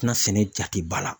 tɛna sɛnɛ jate ba la.